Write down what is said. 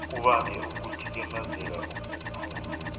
kubange ukuthikamezeka okukhulu